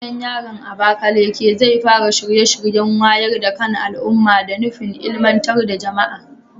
Gidan yarin Abakaleke zai fara shirye-shiryen wayar da kan al'umma da nufin ilmantar da jama'a.